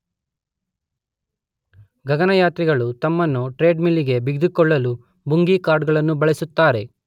ಗಗನಯಾತ್ರಿಗಳು ತಮ್ಮನ್ನು treadmill ಗೆ ಬಿಗಿದುಕೊಳ್ಳಲು ಬುಂಗೀ ಕಾರ್ಡ್ ಗಳನ್ನು ಬಳಸುತ್ತಾರೆ.